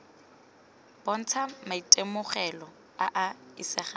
bontsha maitemogelo a a isegang